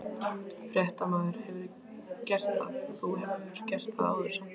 Fréttamaður: Hefurðu gert það, þú hefur gert það áður samt?